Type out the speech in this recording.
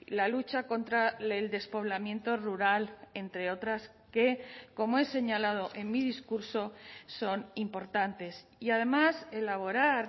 la lucha contra el despoblamiento rural entre otras que como he señalado en mi discurso son importantes y además elaborar